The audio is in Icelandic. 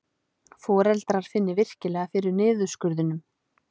Foreldrar finni virkilega fyrir niðurskurðinum